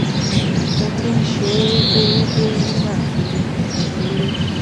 mo ti ń ṣe é déédéé nígbà tí mo ṣì kéré